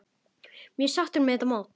Mjög sáttur með þetta mót.